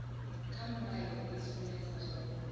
kha mulayo i sumbedza zwavhudi